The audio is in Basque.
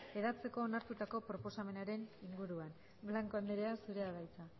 hedatzeko onartutako proposamenaren inguruan blanco andrea zurea da hitza